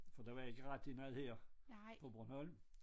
For der var jeg ikke rigtig meget her på Bornholm